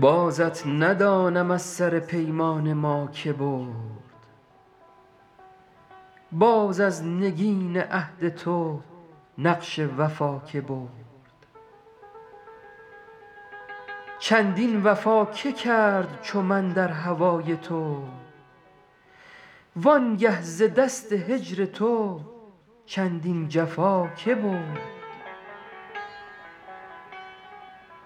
بازت ندانم از سر پیمان ما که برد باز از نگین عهد تو نقش وفا که برد چندین وفا که کرد چو من در هوای تو وان گه ز دست هجر تو چندین جفا که برد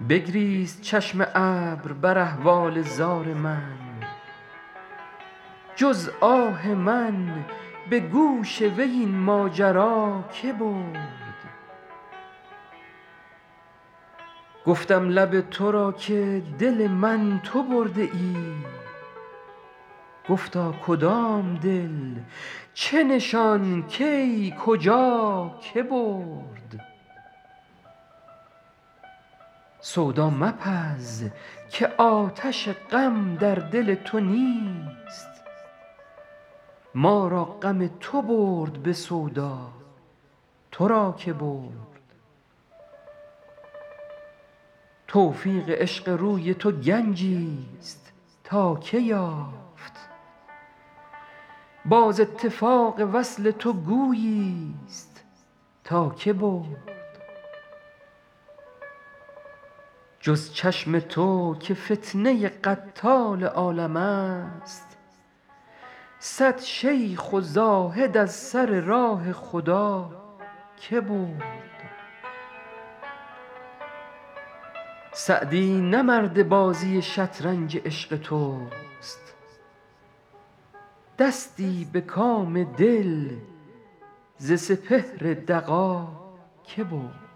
بگریست چشم ابر بر احوال زار من جز آه من به گوش وی این ماجرا که برد گفتم لب تو را که دل من تو برده ای گفتا کدام دل چه نشان کی کجا که برد سودا مپز که آتش غم در دل تو نیست ما را غم تو برد به سودا تو را که برد توفیق عشق روی تو گنجیست تا که یافت باز اتفاق وصل تو گوییست تا که برد جز چشم تو که فتنه قتال عالمست صد شیخ و زاهد از سر راه خدا که برد سعدی نه مرد بازی شطرنج عشق توست دستی به کام دل ز سپهر دغا که برد